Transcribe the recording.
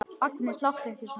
Agnes, láttu ekki svona!